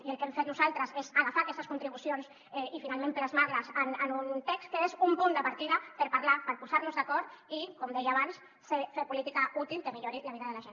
i el que hem fet nosaltres és agafar aquestes contribucions i finalment plasmar les en un text que és un punt de partida per parlar ne per posar nos hi d’acord i com deia abans fer política útil que millori la vida de la gent